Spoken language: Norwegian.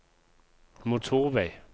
motorvei